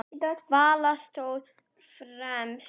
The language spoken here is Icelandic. Vala stóð fremst.